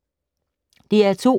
DR2